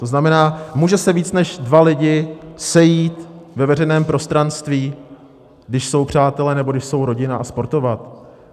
To znamená, můžou se víc než dva lidi sejít na veřejném prostranství, když jsou přátelé nebo když jsou rodina, a sportovat?